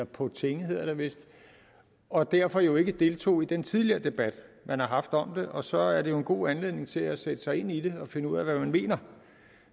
på tinge og derfor jo ikke deltog i den tidligere debat man har haft om det og så er det jo en god anledning til at sætte sig ind i det og finde ud af hvad man mener